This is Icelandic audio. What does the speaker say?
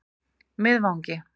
Miðvangi